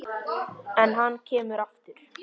En hann kemur aftur.